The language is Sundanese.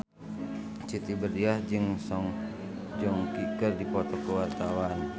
Siti Badriah jeung Song Joong Ki keur dipoto ku wartawan